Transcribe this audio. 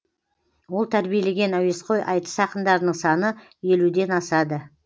ол тәрбиелеген әуесқой айтыс ақындарының саны елуден асады